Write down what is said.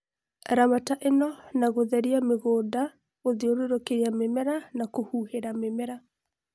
Ramata ĩno na gũtheria mũgũnda, gũthiũrũrũkia mĩmera na kũhuhĩla mimera